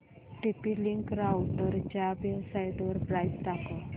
TP link राउटरच्या वेबसाइटवर price दाखव